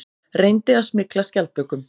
Reyndi að smygla skjaldbökum